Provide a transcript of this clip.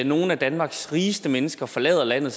nogle af danmarks rigeste mennesker forlader landet